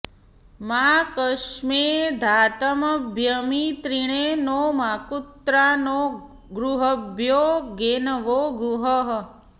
मा कस्मै धातमभ्यमित्रिणे नो माकुत्रा नो गृहेभ्यो धेनवो गुः